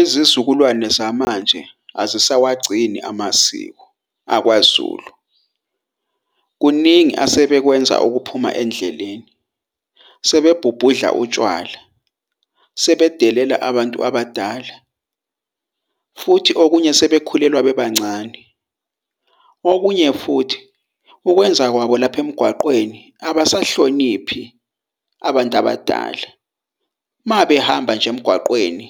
Izizukulwane zamanje azisawagcini amasiko akwaZulu . Kuningi asebekwenza okuphuma endleleni. Sebebhubhudla utshwala, sebedelela abantu abadala , futhi okunye sebekhulelwa bebancane. Okunye futhi ukwenza kwabo lapha emgwaqweni abasahloniphi abantu abadala. Mabehamba nje emgwaqweni